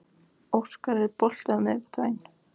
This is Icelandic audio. Óskar, er bolti á miðvikudaginn?